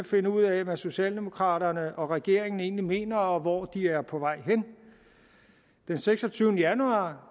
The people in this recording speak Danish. finde ud af hvad socialdemokraterne og regeringen egentlig mener og hvor de er på vej hen den seksogtyvende januar